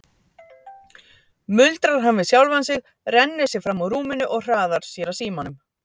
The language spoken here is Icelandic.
muldrar hann við sjálfan sig, rennir sér fram úr rúminu og hraðar sér að símanum.